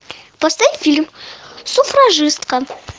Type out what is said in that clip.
поставь фильм суфражистка